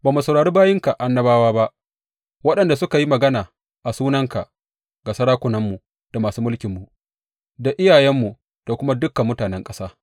Ba mu saurari bayinka annabawa ba, waɗanda suka yi magana a sunanka ga sarakunanmu da masu mulkinmu da iyayenmu, da kuma dukan mutanen ƙasa.